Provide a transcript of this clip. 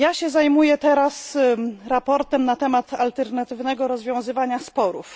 Zajmuję się teraz raportem na temat alternatywnego rozwiązywania sporów.